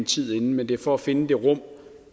tid inden men det er for at finde det rum